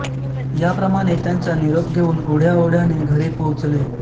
या प्रमाणे त्यांचा निरोप घेऊन ओढ्या ओढ्याने घरी पोहचले